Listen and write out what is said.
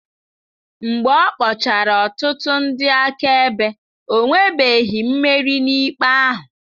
Mgbe ọ kpọchara ọtụtụ ndị akaebe, o nwebeghị mmeri n'ikpe ahụ.